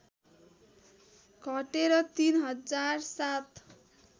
घटेर ३ हजार ७